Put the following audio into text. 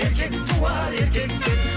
еркек туар еркектен